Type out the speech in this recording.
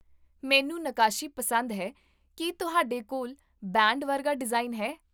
ਮੈਨੂੰ ਨੱਕਾਸ਼ੀ ਪਸੰਦ ਹੈ ਕੀ ਤੁਹਾਡੇ ਕੋਲ ਬੈਂਡ ਵਰਗਾ ਡਿਜ਼ਾਈਨ ਹੈ?